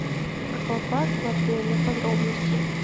аквапарк в отеле подробности